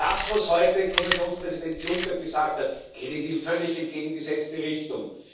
Das was heute Kommissionspräsident Juncker gesagt hat, geht in die völlig entgegengesetzte Richtung.